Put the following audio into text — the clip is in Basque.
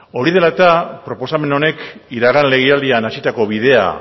hori dela eta proposamen honek iragan legealdian hasitako bidea